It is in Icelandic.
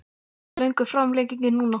Hversu löng er framlengingin núna?